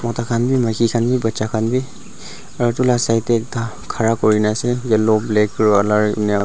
takhan bi maki khan bi bacha khan bi aru edu la side tae ekta khara kurina ase yellow black --